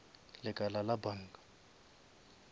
lekala la banka